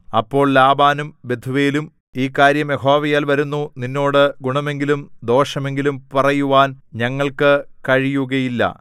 അപ്പോൾ ലാബാനും ബെഥൂവേലും ഈ കാര്യം യഹോവയാൽ വരുന്നു നിന്നോട് ഗുണമെങ്കിലും ദോഷമെങ്കിലും പറയുവാൻ ഞങ്ങൾക്കു കഴിയുകയില്ല